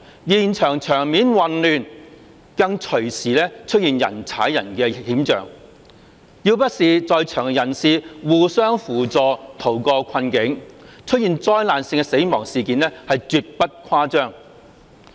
現場場面混亂，更隨時出現人踩人的險象，要不是在場人士互相扶助，逃過困境，出現災難性的死亡事件是絕不誇張。